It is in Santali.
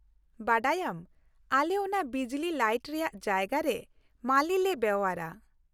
ᱵᱟᱰᱟᱭᱟᱢ, ᱟᱞᱮ ᱚᱱᱟ ᱵᱤᱡᱞᱤ ᱞᱟᱹᱭᱤᱴ ᱨᱮᱭᱟᱜ ᱡᱟᱭᱜᱟ ᱨᱮ ᱢᱟᱹᱞᱤ ᱞᱮ ᱵᱮᱣᱦᱟᱨᱟ ᱾